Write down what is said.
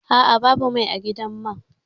A'a, babu mai a gidan man